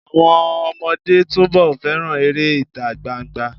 Àwọn ọmọdé túnbọ̀ fẹ́ràn eré ìtagbangba.